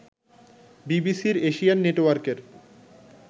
বিবিসির এশিয়ান নেটওয়ার্কের